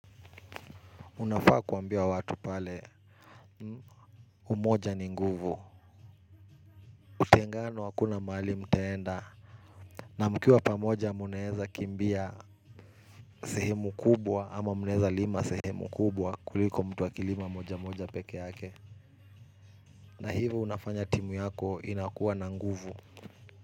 Unafaa kuambia watu pale umoja ni nguvu. Utengano hakuna mahali mtaenda na mkiwa pamoja mnaweza kimbia sehemu kubwa ama mnaweza lima sehemu kubwa kuliko mtu akilima moja moja peke yake. Na hivyo unafanya timu yako inakuwa na nguvu.